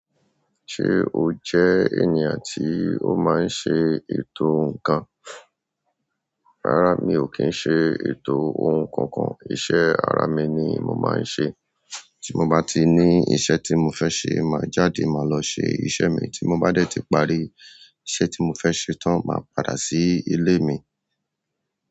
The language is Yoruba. Ṣé o jẹ́ ènìyàn tí o máa ń ṣe ètò ǹkan? Rárá, mi ò kí ń ṣe ètò ohun kankan. Iṣẹ́ ara mi ni mo màá ń ṣe. Tí mo bá ti ní iṣẹ́ tí mo fẹ́ ṣe, màá jáde, màá lọ ṣe iṣẹ́ mi. Tí mo bá dé tí parí iṣẹ́ tí mo fẹ́ ṣe tán, màá padà sí ilé mi.